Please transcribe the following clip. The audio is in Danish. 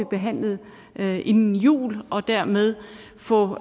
behandlet inden jul og dermed få